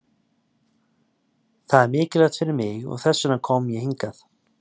Það er mikilvægt fyrir mig og þess vegna kom ég hingað.